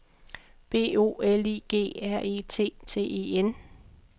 B O L I G R E T T E N